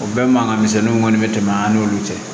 O bɛɛ mankanmisɛnninw kɔni bɛ tɛmɛ an n'olu cɛ